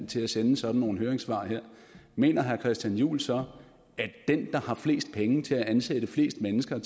til at sende sådan nogle høringssvar mener herre christian juhl så at den der har flest penge til at ansætte flest mennesker